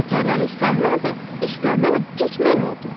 Paltarlar islanmadı, islanan tək mən oldum.